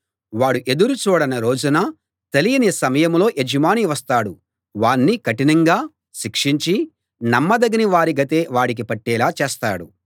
వాడు ఎదురు చూడని రోజున తెలియని సమయంలో యజమాని వస్తాడు వాణ్ణి కఠినంగా శిక్షించి నమ్మదగని వారి గతే వాడికి పట్టేలా చేస్తాడు